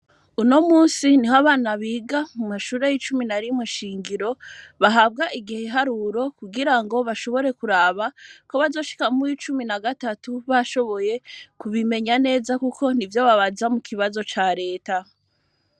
Uno munsi niho abana biga mu mashure y'icumi na rimwe nshingiro bahabwa igiharuro kugira ngo bashobore kuraba ko bazoshika mu w'icumi na gatatu bashoboye kubimenya neza kuko n'ivyo babaza mu kibazo ca leta.